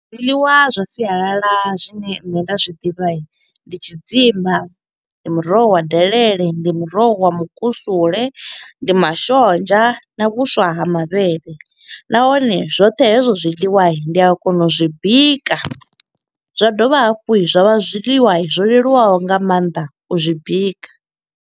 Zwiḽiwa zwa sialala zwine nṋe nda zwi ḓivha, ndi tshidzimba ndi muroho wa delele. Ndi muroho wa mukusule, ndi mashonzha na vhuswa ha mavhele. Nahone zwoṱhe hezwo zwiḽiwa, ndi a kona u zwi bika. Zwa dovha hafhu zwa vha zwiḽiwa zwo leluwaho nga maanḓa u zwi bika.